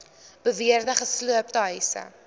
beweerde gesloopte huise